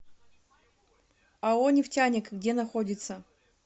ао нефтяник где находится